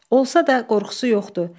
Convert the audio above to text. Olsa da qorxusu yoxdu.